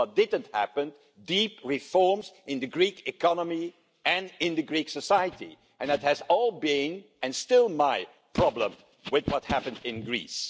What didn't happen were deep reforms in the Greek economy and in Greek society, and that has been, and still is, my problem with what happened in Greece.